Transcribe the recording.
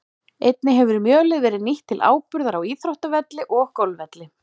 Einnig hefur mjölið verið nýtt til áburðar á íþróttavelli og golfvelli.